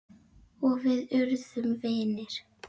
Og við urðum vinir.